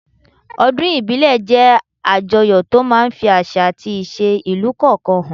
Ọdún ìbílẹ̀ jẹ́ àjọyọ̀ tó máa ń ń fi àṣà àti ìṣe ìlú kọ̀ọ̀kan hàn